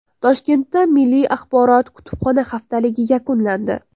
Toshkentda milliy axborot-kutubxona haftaligi yakunlandi.